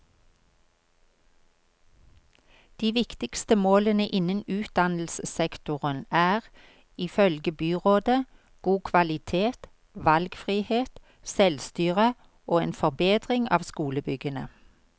De viktigste målene innen utdannelsessektoren er, ifølge byrådet, god kvalitet, valgfrihet, selvstyre og en forbedring av skolebyggene.